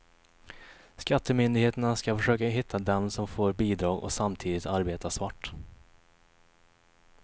Skattemyndigheterna ska försöka hitta dem som får bidrag och samtidigt arbetar svart.